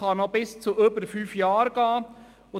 Es kann noch länger als fünf Jahre dauern.